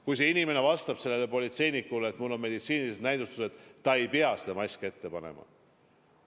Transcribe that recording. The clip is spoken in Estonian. Kui see inimene vastab sellele politseinikule, et mul on meditsiinilised vastunäidustused, siis ta ei pea maski ette panema.